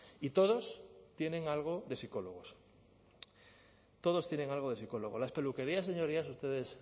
y todos tienen algo de psicólogos todos tienen algo de psicólogos las peluquerías señorías ustedes